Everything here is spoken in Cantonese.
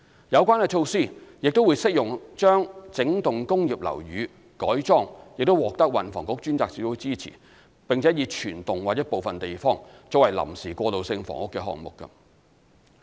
有關措施亦適用於將整幢工業樓宇改裝、獲運房局專責小組支持，並以全幢或部分地方作為臨時過渡性房屋的項目。